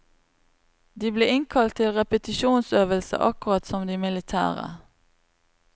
De ble innkalt til repetisjonsøvelse akkurat som de militære.